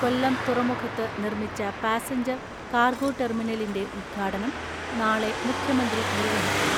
കൊല്ലം തുറമുഖത്ത് നിർമ്മിച്ച passenger cargo ടെർമിനലിന്റെ ഉദ്ഘാടനം നാളെ മുഖ്യമന്ത്രി നിർവഹിക്കും.